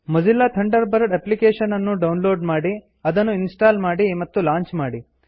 Mozilla Thunderbird application ಅನ್ನು download ಮಾಡಿ ಅದನ್ನು ಇನ್ಸ್ಟಾಲ್ ಮಾಡಿ ಮತ್ತು ಲಾಂಚ್ ಮಾಡಿ